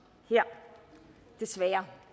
desværre